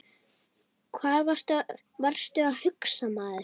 Hvað varstu að hugsa maður?